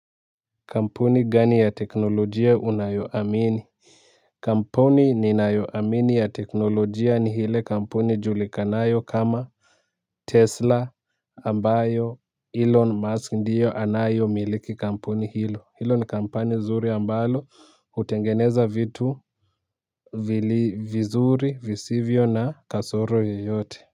Kampuni gani ya teknolojia unayoamini? Kampuni ninayoamini ya teknolojia ni hile kampuni julikanayo kama Tesla ambayo Elon Musk ndiyo anayo miliki kampuni hilo hilo ni kampani zuri ambalo hutengeneza vitu vizuri visivyo na kasoro yoyote.